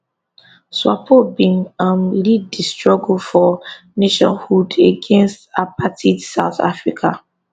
swapo bin um lead di struggle for nationhood against apartheid south africa